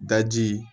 Daji